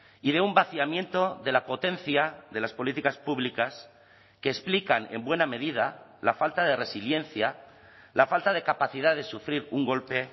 y de un vaciamiento de la potencia de las políticas públicas que explican en buena medida la falta de resiliencia la falta de capacidad de sufrir un golpe